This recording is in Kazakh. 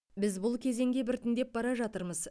біз бұл кезеңге біртіндеп бара жатырмыз